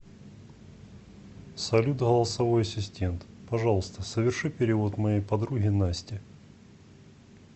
салют голосовой ассистент пожалуйста соверши перевод моей подруге насте